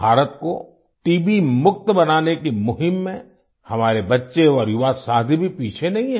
भारत को टीबी मुक्त बनाने की मुहिम में हमारे बच्चे और युवा साथी भी पीछे नहीं हैं